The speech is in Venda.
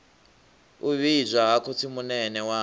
u vhidzwa ha khotsimunene wawe